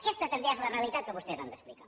aquesta també és la realitat que vostès han d’explicar